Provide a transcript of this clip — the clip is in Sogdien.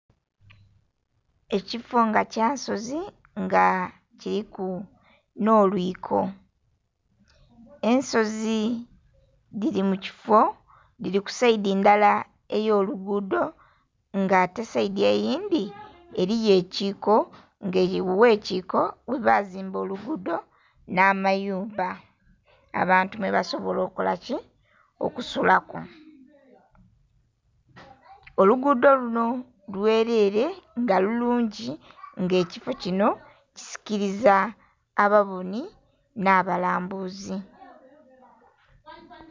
Ekifo nga kyansozi nga kiliku nh'olwiko. Ensozi dhili mu kifo, dhili ku saidi ndala ey'olugudho, nga ate saidi eyindhi eliyo ekiiko, nga ow'ekiiko ghebazimba olugudho nh'amayumba, abantu mwebasobola okola ki? Okusulaku. Olugudho luno lwelere nga lulungi, nga ekifo kino kisikiliza ababonhi nh'abalambuzi.